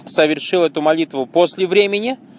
совершил эту молитву после времени